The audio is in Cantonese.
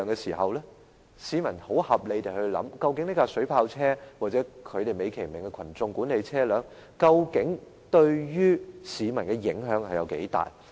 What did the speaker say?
市民會很合理地提出質疑，究竟水炮車，或警方美其名稱為"人群管理的特別用途車"，對於市民的影響有多大。